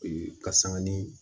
Ee ka sanga ni